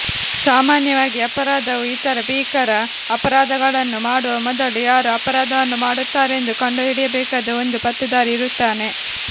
ಸಾಮಾನ್ಯವಾಗಿ ಅಪರಾಧವು ಇತರ ಭೀಕರ ಅಪರಾಧಗಳನ್ನು ಮಾಡುವ ಮೊದಲು ಯಾರು ಅಪರಾಧವನ್ನು ಮಾಡುತ್ತಾರೆಂದು ಕಂಡುಹಿಡಿಯಬೇಕಾದ ಒಂದು ಪತ್ತೇದಾರಿ ಇರುತ್ತಾನೆ